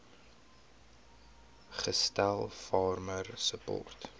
gestel farmer support